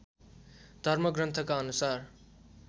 धर्मग्रन्थका अनुसार